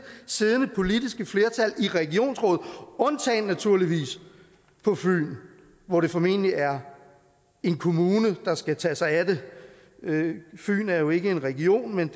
siddende politiske flertal i regionsrådet undtagen naturligvis på fyn hvor det formentlig er en kommune der skal tage sig af det fyn er jo ikke en region men